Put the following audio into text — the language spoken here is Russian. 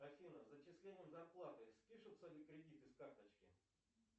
афина с зачислением зарплаты спишутся ли кредиты с карточки